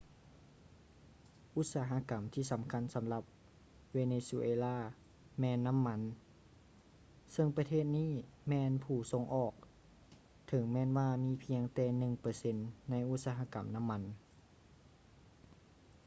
ອຸດສາຫະກຳທີ່ສຳຄັນສຳລັບເວເນຊູເອລາແມ່ນນໍ້າມັນ ເຊິ່ງປະເທດນີ້ແມ່ນຜູ້ສົ່ງອອກ ເຖິງແມ່ນວ່າມີພຽງແຕ່ໜຶ່ງເປີເຊັນໃນອຸດສະຫະກຳນໍ້າມັນ